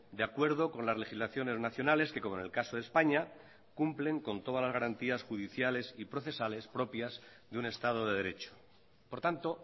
de acuerdo con las legislaciones nacionales que como en el caso de españa cumplen con todas las garantías judiciales y procesales propias de un estado de derecho por tanto